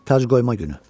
Tacqoyma günü.